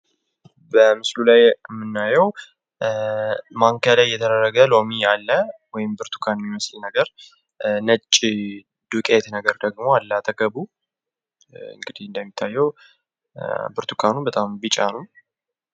በምስሉ ላይ የምናየው በማንኪያ የተደረገ ሎሚ ያለ ወይም ብርቱካን ሚመስል ነገር ነጭ ዱቄት ነገር ደግሞ አለ አጠገቡ እንግዲህ ብርቱካኑ በጣም ቢጫ ነው።